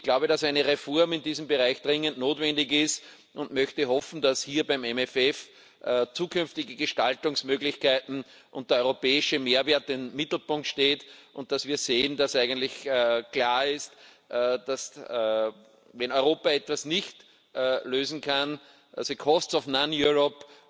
Ich glaube, dass eine Reform in diesem Bereich dringend notwendig ist, und möchte hoffen, dass hier beim MFF zukünftige Gestaltungsmöglichkeiten und der europäische Mehrwert im Mittelpunkt stehen, und dass wir sehen, dass eigentlich klar ist, dass, wenn Europa etwas nicht lösen kann, the costs of non Europe